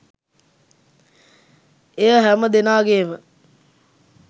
එය හැම දෙනාගේම